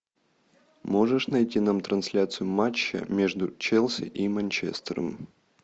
можешь найти нам трансляцию матча между челси и манчестером